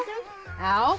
já